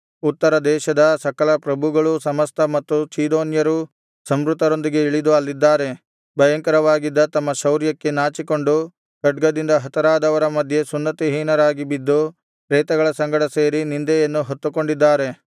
ಉತ್ತರ ದೇಶದ ಸಕಲ ಪ್ರಭುಗಳೂ ಸಮಸ್ತ ಮತ್ತು ಚೀದೋನ್ಯರೂ ಸಂಹೃತರೊಂದಿಗೆ ಇಳಿದು ಅಲ್ಲಿದ್ದಾರೆ ಭಯಂಕರವಾಗಿದ್ದ ತಮ್ಮ ಶೌರ್ಯಕ್ಕೆ ನಾಚಿಕೊಂಡು ಖಡ್ಗದಿಂದ ಹತರಾದವರ ಮಧ್ಯೆ ಸುನ್ನತಿಹೀನರಾಗಿ ಬಿದ್ದು ಪ್ರೇತಗಳ ಸಂಗಡ ಸೇರಿ ನಿಂದೆಯನ್ನು ಹೊತ್ತುಕೊಂಡಿದ್ದಾರೆ